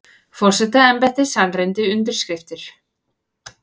Forsetaembættið sannreyndi undirskriftir